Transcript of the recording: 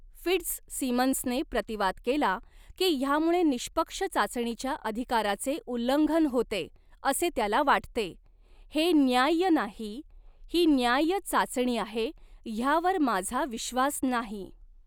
फिट्झसिमन्सने प्रतिवाद केला की ह्यामुळे निष्पक्ष चाचणीच्या अधिकाराचे उल्लंघन होते, असे त्याला वाटते. "हे न्याय्य नाही. ही न्याय्य चाचणी आहे, ह्यावर माझा विश्वास नाही."